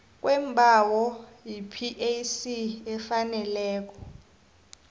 kweembawo yipac efaneleko